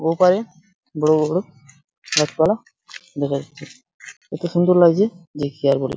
ওপাড়ে বড় বড় গাছপালা দেখা যাচ্ছে কত সুন্দর লাগছে ।